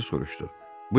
Kraliça soruşdu.